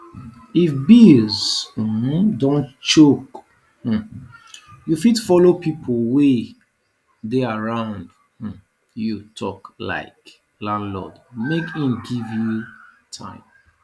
if bills um don choke um you fit follow pipo wey dey around um you talk like landlord make im give you time